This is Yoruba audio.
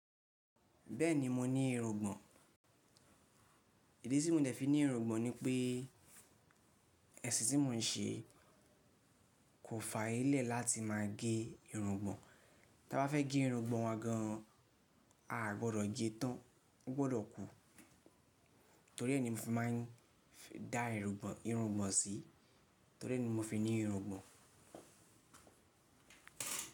Bẹ́ẹ̀ni mo ní irùngbọ̀n, ìdí tí mo dẹ̀ fi ní irùngbọ̀n ni pé ẹṣin tí mo ń ṣe kò f'ayé lẹ láti máa gé irùngbọ̀n. Ta bá fẹ́ gé irùngbọ̀n wà gan an, a gbọdọ̀ gé tán, o gbọdọ̀ kú. Torí ẹ́ ni mo fi máa ń dá irùngbọ̀n, irùngbọ̀n sí, torí ẹ́ ni mo fi ní irùngbọ̀n.